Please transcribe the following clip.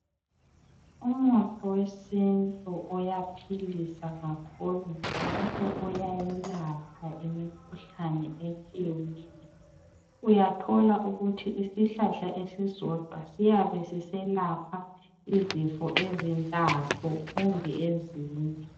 Umuthi wesintu uyaphilisa kakhulu njalo uyayelapha imikhuhlane etshiyeneyo , uyathola ukuthi isihlahla esisodwa siyabe siselapha izifo ezintathu kumbe ezine